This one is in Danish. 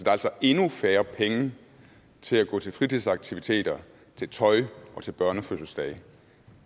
er altså endnu færre penge til at gå til fritidsaktiviteter til tøj og til børnefødselsdage